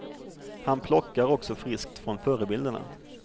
Han plockar också friskt från förebilderna.